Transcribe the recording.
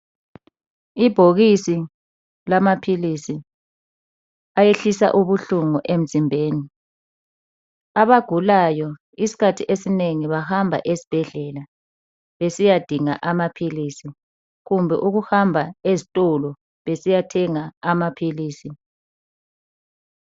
Ibhokisi lamaphilisi ayehlisa ubuhlungu emzimbeni . Abagulayo isikhathi esinengi bahamba esibhedlela besiyadinga amaphilisi. Kumbe ukuhamba ezitolo besiyathenga amaphilisi.